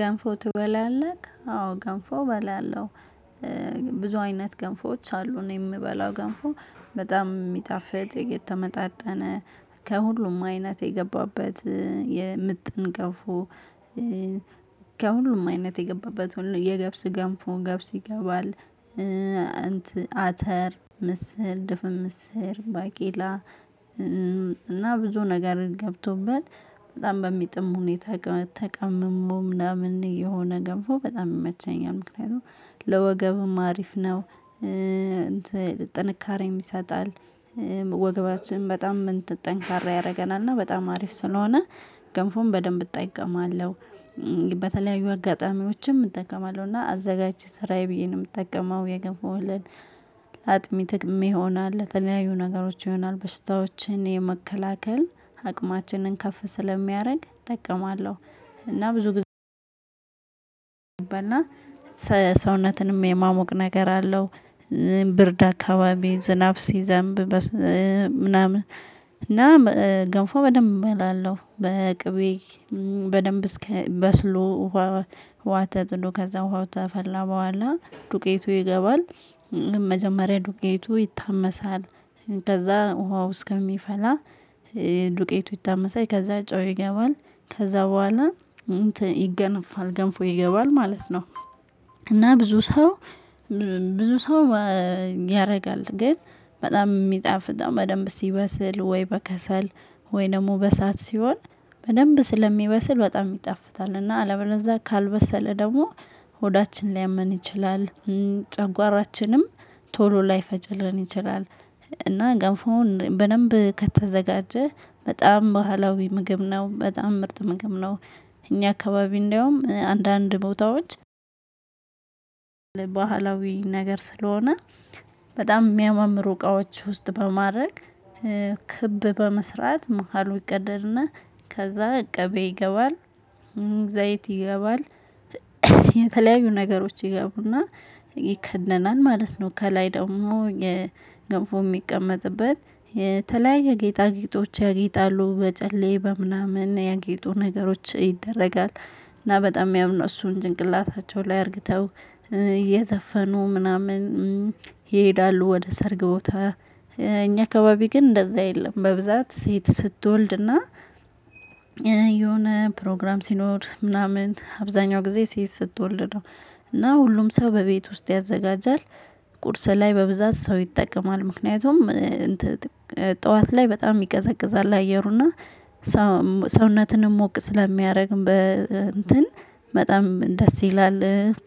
ገንፎ ትበላለህ አዎ ገንፎ እበላለሁ። ብዙ አይነት ገንፎዎች አሉ እኔ የምበላው ገንፎ በጣም የሚጣፍጥ የተመጣጠነ ከሁሉም አይነት የገባበት የምጥን ገንፎ ከሁሉም አይነት የገባበት ሁሉ የገብስ ገንፎ ገብስ ይገባል። አተር ምስር ድፍን ምስር ባቄላ እና ብዙ ነገር ገብቶበት በጣም በሚጥም ሁኔታ ተቀምሞ ምናምን የሆነ ገብፎ በጣም መቸኛል ምክንያቱም ለወገብም አሪፍ ነው። ጥንካሬም ይሰጣል ወገባችን በጣም ጠንካራ ያደርገናል እና በጣም አሪፍ ስለሆነ ገንፎን በደንብ እጠቀማለሁ። በተለያዩ አጋጣሚዎችም እጠቀማለሁ እና አዘጋጅቼ ስራዬ ብየ ነው የምጠቀመው የገንፎ። እህልን አጥሚት ሚሆን አለ ለተለያዩ ነገሮች ይሆናል በሽታዎችን የመከላከል አቅማችንን ከፍ ስለሚያደርግ እጠቀማለሁ። እና ብዙ በና ሰውነትንም የማሞቅ ነገር አለው። ብርድ አካባቢ ዝናብ ሲዘንብ ምናምን እና ገንፎ በደንብ እበላለሁ። በቅቤ በደንብ እስከ በስሎ ውሃ ተጥዶ ከዛ ውሃው ተፈላ በኋላ ዱቄቱ ይገባል። መጀመሪያ ዱቄቱ ይታመሳል። ከዛ ውሃው እስከሚፈላ ዱቄቱ ይታመሳል ከዛ ጨው ይገባል ከዛ በኋላ ይገነፋል ገንፎ ይገባል ማለት ነው። እና ብዙ ሰው ብዙ ሰው ያደርጋል ግን በጣም የሚጣፍ በደንብ ሲበስል ወይ በከሰል ወይ ደግሞ በእሳት ሲሆን በደንብ ስለሚበስል በጣም ይጣፍጣል። እና አለበለዛ ካልበሰለ ደግሞ ሆዳችን ሊያመን ይችላል። ጨጓራችንም ቶሎ ላይፈጭልን ይችላል። እና ገንፎን በደንብ ከተዘጋጀ በጣም ባህላዊ ምግብ ነው በጣም ምርጥ ምግብ ነው። እኛ አካባቢ እንደውም አንዳንድ ቦታዎች ባህላዊ ነገር ስለሆነ በጣም የሚያማምሩ እቃዎች ውስጥ በማድረግ ክብ በመስራት መሃሉ ይቀደድና ከዛ ቅቤ ይገባል። ዘይት ይገባል። የተለያዩ ነገሮች ይገቡና ይከደናል ማለት ነው። ከላይ ደግሞ የገንፎ የሚቀመጥበት የተለያየ ጌጣጌጦች ያጌጣሉ በጨሌ በምናምን የጌጡ ነገሮች ይደረጋል። እና በጣም የሚያምኑ እሱን ጭንቅላታቸው ላይ አርግተው እየዘፈኑ ምናምን ይሄዳሉ። ወደ ሰርግ ቦታ እኛ አካባቢ ግን እንደዛ የለም በብዛት ሴት ስትወልድና የሆነ ፕሮግራም ሲኖር ምናምን አብዛኛው ጊዜ ሴት ስትወልድ ነው። እና ሁሉም ሰው በቤት ውስጥ ያዘጋጃል። ቁርስ ላይ በብዛት ሰው ይጠቀማል። ምክንያቱም ጠዋት ላይ በጣም ይቀዘቅዛል አየሩና ሰውነትንም ሞቅ ስለሚያደርግ በእንትን በጣም ደስ ይላል።